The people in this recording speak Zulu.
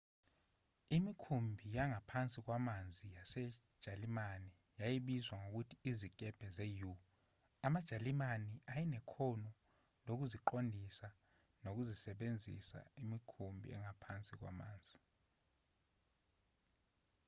imikhumbi yangaphansi kwamanzi yasejalimane yayibizwa ngokuthi izikebhe ze-u amajalimane ayenekhono lokuqondisa nokusebenzisa imikhumbi yabo yangaphansi kwamanzi